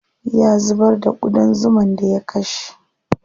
Ya zubar da ƙudan zuman da ya kashe.